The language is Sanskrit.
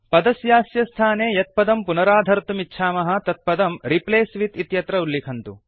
पदस्यास्य स्थाने यत् पदं पुनराधर्तुमिच्छामः तत् पदं रिप्लेस विथ इत्यत्र उल्लिखन्तु